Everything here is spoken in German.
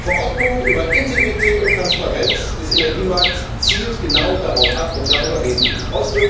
Die Verordnung über Integrität und Transparenz des Energiemarkts zielt genau darauf ab, und darüber reden wir hier.